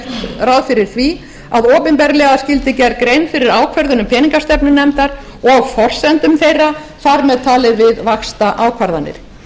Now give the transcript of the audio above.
ráð fyrir því að opinberlega skyldi gerð grein fyrir ákvörðunum peningastefnunefnd og forsendum þeirra þar með talið við vaxtaákvarðanir